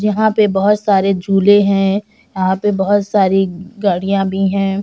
यहाँ पे बहुत सारे झूले हैं यहाँ पे बहुत सारी गाड़ियाँ भी हैं ।